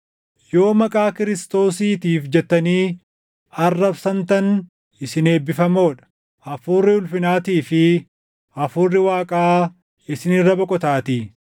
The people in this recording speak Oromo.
Yoo maqaa Kiristoosiitiif jettanii arrabsamtan isin eebbifamoo dha; Hafuurri ulfinaatii fi Hafuurri Waaqaa isin irra boqotaatii.